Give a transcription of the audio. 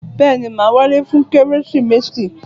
Bẹ́ẹ̀ni, màá wálé fún Kérésìmesì.